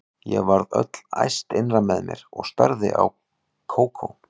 Ég varð öll æst innra með mér og starði á Kókó.